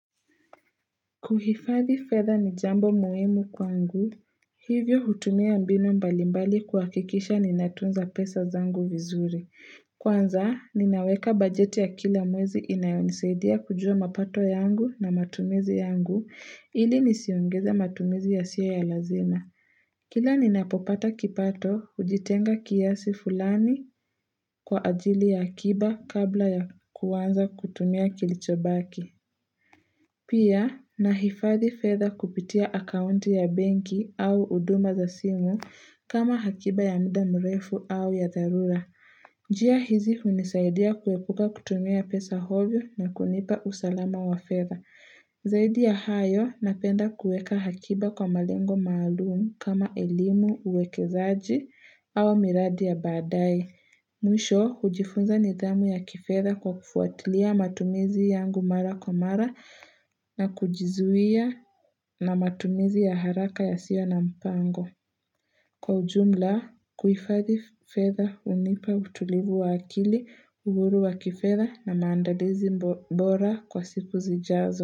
Kuhifadhi fedha ni jambo muhimu kwangu, hivyo hutumia mbinu mbalimbali kuhakikisha ninatunza pesa zangu vizuri. Kwanza, ninaweka bajeti ya kila mwezi inayo nisaidia kujua mapato yangu na matumizi yangu, ili nisiongeza matumizi yasiyo ya lazima. Kila ninapopata kipato, huzitenga kiasi fulani kwa ajili ya akiba kabla ya kuanza kutumia kilichobaki. Pia, nahifadhi fedha kupitia akaunti ya benki au huduma za simu kama hakiba ya muda mrefu au ya dharura. Njia hizi hunisaidia kuepuka kutumia pesa ovyo na kunipa usalama wa fedha. Zaidi ya hayo, napenda kuweka hakiba kwa malengo maalum kama elimu uwekezaji au miradi ya badae. Mwisho, hujifunza nidhamu ya kifedha kwa kufuatilia matumizi yangu mara kwa mara na kujizuia na matumizi ya haraka ya sio na mpango. Kwa ujumla, kuhifadhi fedha hunipa utulivu wa akili, uhuru wa kifedha na maandalizi bora kwa siku zijazo.